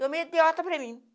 Eu mesmo dei alta para mim.